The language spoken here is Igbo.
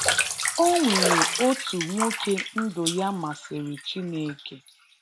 o nwere otu nwoke ndụ ya masịrị Chineke